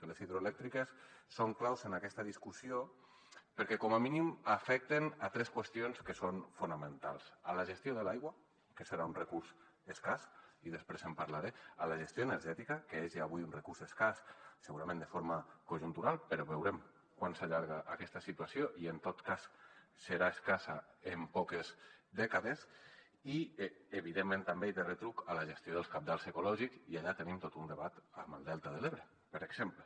que les hidroelèctriques són claus en aquesta discussió perquè com a mínim afecten tres qüestions que són fonamentals la gestió de l’aigua que serà un recurs escàs i després en parlaré la gestió energè·tica que és ja avui un recurs escàs segurament de forma conjuntural però veurem quant s’allarga aquesta situació i en tot cas serà escassa en poques dècades i evi·dentment també de retruc la gestió dels cabals ecològics i allà tenim tot un debat amb el delta de l’ebre per exemple